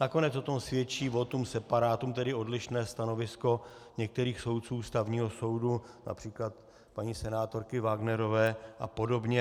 Nakonec o tom svědčí votum separatum, tedy odlišné stanovisko některých soudců Ústavního soudu, například paní senátorky Wagnerové a podobně.